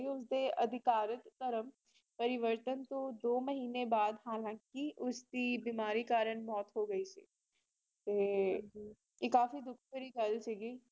ਤੇ ਅਧਿਕਾਰਕ ਧਰਮ ਪਰਿਵਤਨ ਤੋ ਦੋ ਮਹੀਨੇ ਬਾਅਦ ਹਲਕੀ ਉਸਦੀ ਬਿਮਾਰੀ ਕਰਨ ਮੌਤ ਹੋਗਈ ਸੀ ਤੇ ਇਹ ਕਾਫੀ ਦੁੱਖਭਰੀ ਗੱਲ ਸੀਗੀ